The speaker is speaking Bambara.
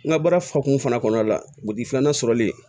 N ka baara fakuman kɔnɔna la filanan sɔrɔli